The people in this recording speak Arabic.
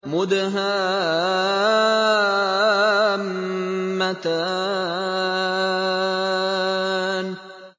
مُدْهَامَّتَانِ